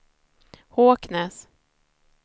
Håknäs